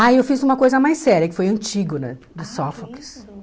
Ah, eu fiz uma coisa mais séria, que foi Antígona, de Sófocles.